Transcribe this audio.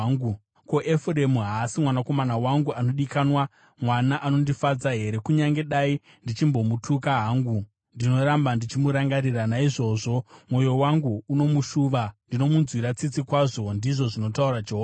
Ko, Efuremu haasi mwanakomana wangu anodikanwa, mwana anondifadza here? Kunyange ndichimupikisa kazhinji, ndinoramba ndichimurangarira. Naizvozvo, mwoyo wangu unomushuva; ndinomunzwira tsitsi kwazvo,” ndizvo zvinotaura Jehovha.